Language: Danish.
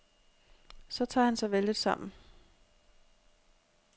Så tager han sig vældigt sammen.